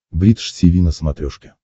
бридж тиви на смотрешке